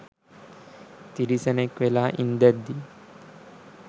තිරිසනෙක් වෙලා ඉන්දැද්දි